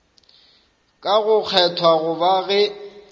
ga go kgethwa goba ge